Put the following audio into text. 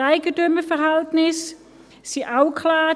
Die Eigentümerverhältnisse sind auch geklärt.